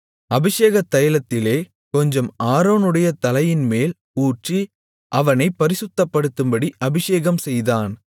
அபிஷேகத் தைலத்திலே கொஞ்சம் ஆரோனுடைய தலையின்மேல் ஊற்றி அவனைப் பரிசுத்தப்படுத்தும்படி அபிஷேகம்செய்தான்